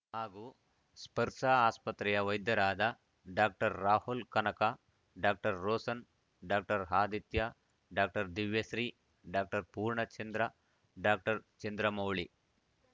ಹಾಗೂ ಸ್ಪರ್ಶ ಆಸ್ಪತ್ರೆಯ ವೈದ್ಯರಾದ doctor Rahul Kanaka doctor Roshan doctor Aditya doctor Divyashri doctor Poornachandra doctor Chandramouli